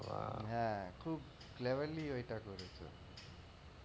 হ্যাঁ, খুব cleverly ওইটা করেছে,